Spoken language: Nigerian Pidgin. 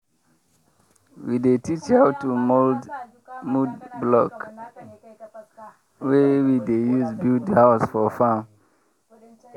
we dey teach how to mould mud block wey we dey use build house for farm.